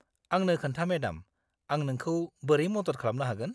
आंनो खोन्था मेडाम, आं नोंखौ बोरै मदद खालामनो हागोन?